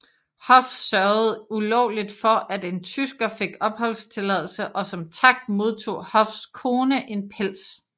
Hoff sørgede ulovligt for at en tysker fik opholdstilladelse og som tak modtog Hoffs kone en pels